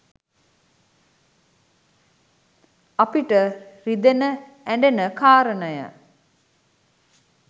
අපිට රිදෙන ඇ‍ඬෙන කාරණය